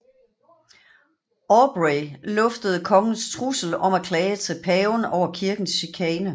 Aubrey luftede kongens trussel om at klage til paven over kirkens chikane